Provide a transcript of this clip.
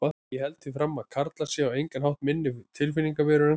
Ég held því fram að karlar séu á engan hátt minni tilfinningaverur en konur.